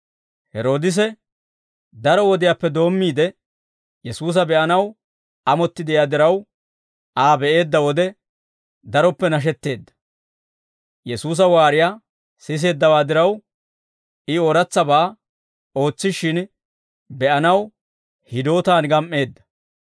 Heroodise daro wodiyaappe doommiide Yesuusa be'anaw amotti de'iyaa diraw, Aa be'eedda wode daroppe nashetteedda. Yesuusa waariyaa siseeddawaa diraw, I ooratsabaa ootsishshin be'anaw hidootaan gam"eedda.